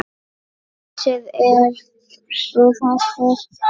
Húsin eru þessi